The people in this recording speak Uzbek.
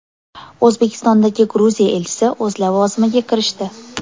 O‘zbekistondagi Gruziya elchisi o‘z lavozimiga kirishdi.